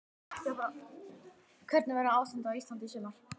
Hvernig verður ástandið á Íslandi í sumar?